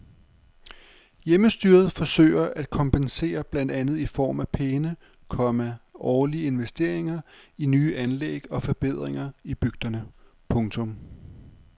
Hjemmestyret forsøger at kompensere blandt andet i form af pæne, komma årlige investeringer i nye anlæg og forbedringer i bygderne. punktum